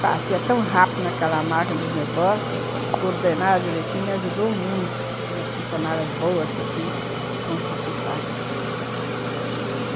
Fazia tão rápido naquela máquina os negócios, coordenava direitinho, me ajudou muito, umas funcionárias boas que eu tinha consegui fazer.